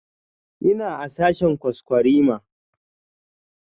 Ina a sashen kwaskwarima